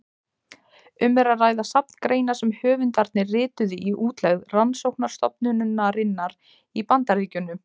Um er að ræða safn greina sem höfundarnir rituðu í útlegð rannsóknarstofnunarinnar í Bandaríkjunum.